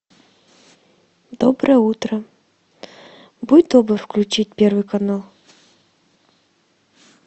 доброе утро будь добр включить первый канал